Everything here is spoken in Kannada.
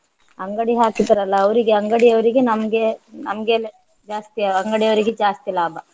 ಅಂಗಡಿ ಹಾಕಿದರಲ್ಲ ಅವರಿಗೆ ಅಂಗಡಿಯವರಿಗೆ ನಮ್ಗೆ ನಮ್ಗೆಲ್ಲ ಜಾಸ್ತಿ ಅಂಗಡಿಯವರಿಗೆ ಜಾಸ್ತಿ ಲಾಭ